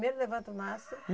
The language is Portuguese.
Primeiro levanta o mastro?